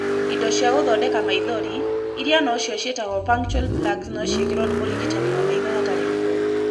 Indo cia gũthondeka maithori, ĩrĩa no cio ciĩtagwo punctal plugs no ciĩkĩrwo nĩ mũrigitani wa maitho hatarĩ ruo.